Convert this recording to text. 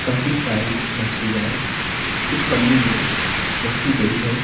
काफी सारी मछलियां एक पन्नी में रखी गई है।